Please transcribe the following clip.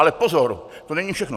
Ale pozor, to není všechno.